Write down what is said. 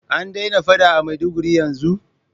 An daina faɗa a maiduguri yanzun?